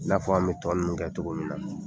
I n'a fɔ an bɛ tɔ ninnu kɛ cogo min na.